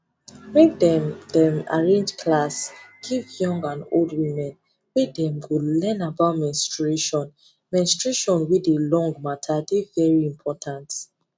make dem them arrange class give young and old women where dem go learn about menstruation menstruation wey dey long matter dey very important